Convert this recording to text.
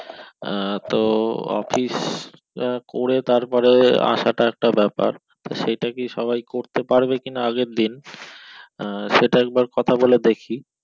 আহ তো office টা করে তারপরে আসাটা একটা ব্যাপার তো সেটাকি সবাই করতে পারবে কিনা আগের দিন আহ সেটা একবার কথা বলে দেখি